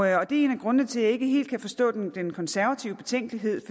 er en af grundene til at jeg ikke helt kan forstå den konservative betænkelighed